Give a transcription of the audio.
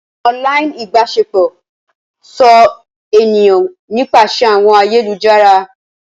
Online ibaṣepọ so eniyan nipasẹ awọn ayelujara.